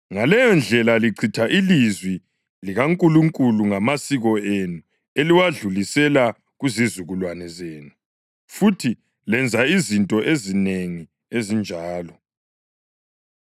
Ngaleyondlela lichitha ilizwi likaNkulunkulu ngamasiko enu eliwedlulisela kuzizukulwane zenu. Futhi lenza izinto ezinengi ezinjalo.”